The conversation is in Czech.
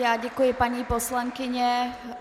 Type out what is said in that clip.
Já děkuji, paní poslankyně.